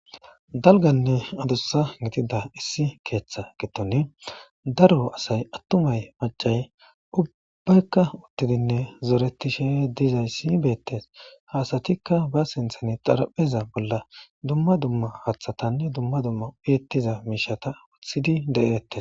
dalganne adussa gidida issi keeththa gidone daro asay attumay macay ubbaykka uttidinne zoretishe dizaysi beettes ha asatikka ba sinthan xarapheza bolla dumma dumma haththatanne dumma dumma uyettiza miishata wothidi de'eettes